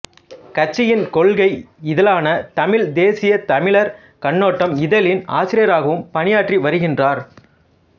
கட்சியின் கொள்கை இதழான தமிழ்த் தேசியத் தமிழர் கண்ணோட்டம் இதழின் ஆசிரியராகவும் பணயாற்றி வருகின்றார்